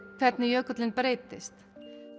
hvernig jökullinn breytist